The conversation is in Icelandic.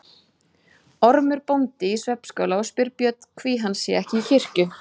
Ormur bóndi í svefnskála og spyr Björn hví hann sé ekki í kirkju.